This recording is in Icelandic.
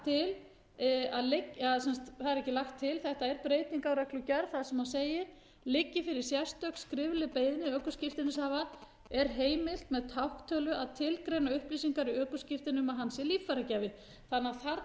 að það er ekki lagt til þetta er breyting á reglugerð þar sem segir liggi fyrir sérstök skrifleg beiðni ökuskírteinishafa er heimilt með tákntölu að tilgreina upplýsingar í ökuskírteini um að hann sé líffæragjafi þarna er því í raun